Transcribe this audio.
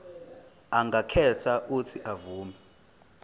angakhetha uuthi avume